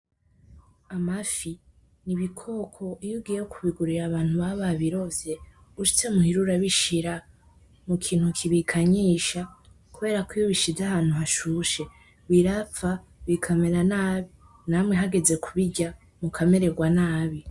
Amafi n’ibikoko iyo ugiye kubigurira abantu baba babirovye ushitse muhira urabishira mu kintu kibikanyisha kuberako iyo ubishize ahantu hashushe birapfa bikamera nabi namwe hageze kubirya mukameregwa nabi.